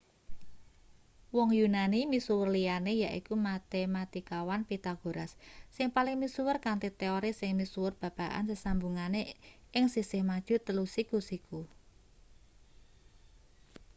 wong yunani misuwur liyane yaiku matematikawan pythagoras sing paling misuwur kanthi teori sing misuwur babagan sesambungane ing sisih maju telu siku-siku